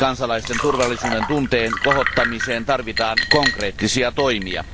Kansalaisten turvallisuudentunteen kohottamiseen tarvitaan konkreettisia toimia.